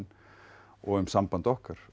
og um samband okkar